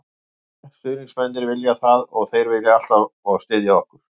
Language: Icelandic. Við viljum það, stuðningsmennirnir vilja það og þeir koma alltaf og styðja okkur.